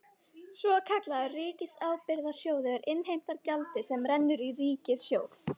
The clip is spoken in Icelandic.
Svokallaður ríkisábyrgðasjóður innheimtir gjaldið sem rennur í ríkissjóð.